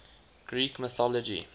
greek mythology